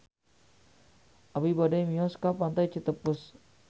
Abi bade mios ka Pantai Citepus